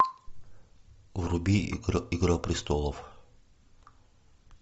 вруби игра престолов